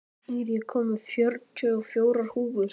Ír, ég kom með fjörutíu og fjórar húfur!